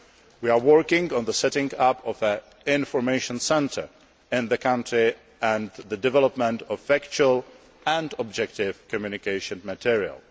We are working on the setting up of an information centre in the country, and on the development of factual and objective communication material.